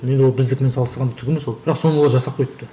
енді ол біздікімен салыстырғанда түк емес ол бірақ соны олар жасап койыпты